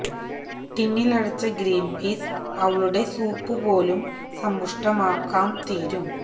ടിന്നിലടച്ച green peas അവളുടെ soup പോലും സമ്പുഷ്ടമാക്കാം തീരും